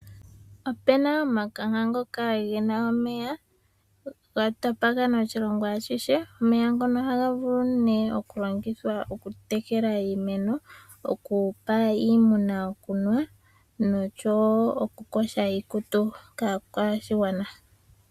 Ope na omakanka ngoka ge na omeya, ga tapakana oshilongo ashihe . Omeya ngono oha ga vulu ne oku longithwa oku tekela iimeno, oku pa iimuna okunwa, nosho wo okukosha iikutu, kaakwashigwana.